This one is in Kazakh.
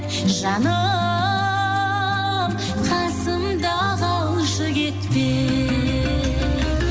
жаным қасымда қалшы кетпей